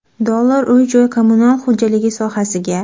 dollar uy-joy kommunal xo‘jaligi sohasiga.